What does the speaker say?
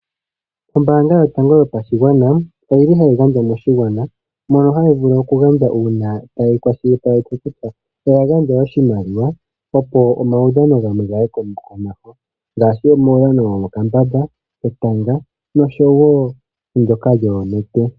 Ombanga yotango yopashingwana oyili hayi gandja moshingwana mono hayivulu okugandja una tayikwashilipaleke kutya oya gandja oshimaliwa opo omawudhano ngamwe gaye komeho ngashi uudhano womokambamba, etanga nosho wo ndoka lyoonete.